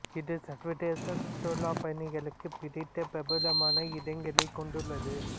இது சர்வதேச சுற்றுலாப் பயணிகளுக்கு பிடித்த பிரபலமான இடங்களைக் கொண்டுள்ளது